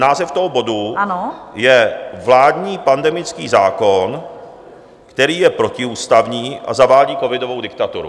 Název toho bodu je: Vládní pandemický zákon, který je protiústavní a zavádí covidovou diktaturu.